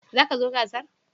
Za ka zo gasar?